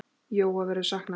Jóa verður saknað.